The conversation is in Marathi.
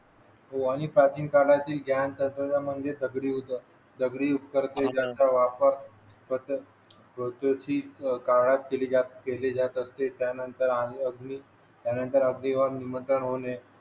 हो आणि प्राचीन काळातील काम तसेच म्हणजे दगडी होतं दगडी दगडी उपकरणे यांचा वापर औद्योगिक काळात केली जात असते त्यानंतर आणि आधुनिक